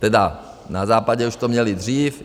Tedy na západě už to měli dřív.